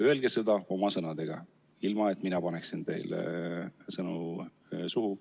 Öelge seda oma sõnadega, ilma et mina paneksin teile sõnu suhu.